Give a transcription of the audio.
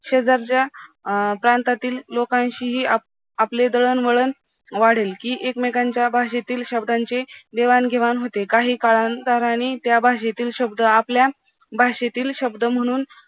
शेजारच्या अं प्रांतातील लोकांशीही आप आपले दळणवळण वाढेल कि एकमेकांच्या भाषेतील शब्दांचे देवाणघेवाण होते, काही काळांतरानी त्या भाषेतील शब्द आपल्या भाषेतील शब्द म्हणून